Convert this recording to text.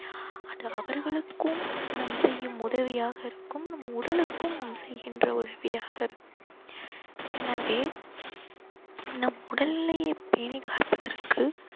அது அவர்களுக்கும் நாம் செய்யும் உதவியாக இருக்கும் நம் உடலுக்கும் நாம் செய்கின்ற உதவியாக இருக்கும் எனவே நம் உடல் நிலையை பேணிக்காப்பதற்கு